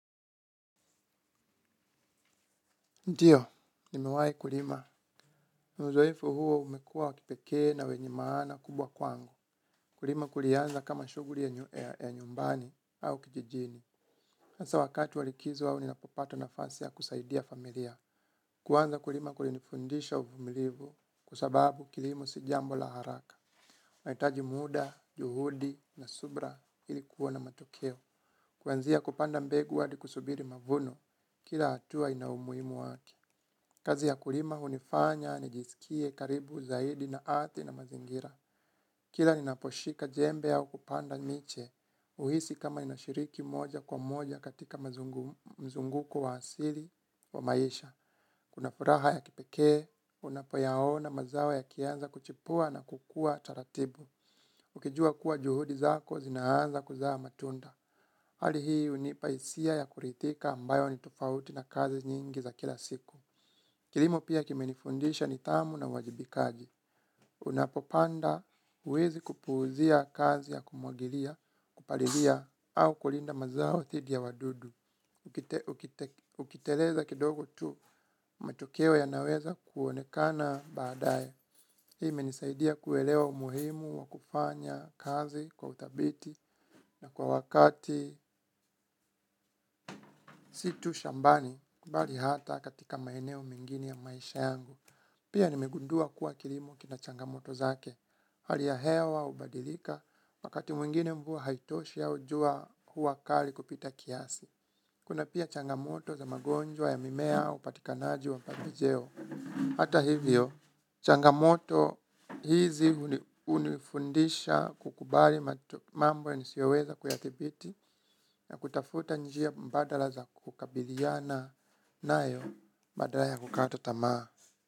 Ndiyo nimewahi kulima uzoefu huo umekua wa kipekee na wenye maana kubwa kwangu kulima kulianza kama shughuli ya nyumbani au kijijini hasa wakati wa likizo au ninapopata nafasi ya kusaidia familia kwanza kulima kulinifundisha uvumilivu kwa sababu kilimo si jambo la haraka unahitaji muda juhudi na subira ili kuona matokeo kuanzia kupanda mbegu hadi kusubiri mavuno kila hatua ina umuhimu wake kazi ya kulima hunifanya nijisikie karibu zaidi na ardhi na mazingira kila ninaposhika jembe au kupanda miche huhisi kama ninashiriki moja kwa moja katika mzunguko wa asili wa maisha kuna furaha ya kipekee unapoyaona mazao yakianza kuchipua na kukua taratibu ukijua kuwa juhudi zako zinaanza kuzaa matunda hali hii hunipa hisia ya kuridhika ambayo ni tofauti na kazi nyingi za kila siku kilimo pia kimenifundisha nidhamu na uwajibikaji unapopanda huwezi kupuuzia kazi ya kumwagilia kupalilia au kulinda mazao dhidi ya wadudu ukiteleza kidogo tu matokeo yanaweza kuonekana baadaye hii imenisaidia kuelewa umuhimu wa kufanya kazi kwa udhabiti na kwa wakati sii tu shambani bali hata katika maeneo mengine ya maisha yangu pia nimegundua kuwa kilimo kina changamoto zake hali ya hewa hubadilika wakati mwingine mvua haitoshi au jua huwa kali kupita kiasi kuna pia changamoto za magonjwa ya mimea upatikanaji wa pembejeo hata hivyo changamoto hizi hunifundisha kukubali mambo nisiyoweza kuyadhibiti na kutafuta njia mbadala za kukabiliana nayo badala ya kukata tamaa.